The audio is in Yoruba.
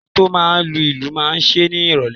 Enito máa lu ìlù máa ṣe ni ìrólé